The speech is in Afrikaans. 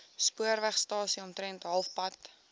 spoorwegstasie omtrent halfpad